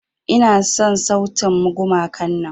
Ina son sautin gumakan nan.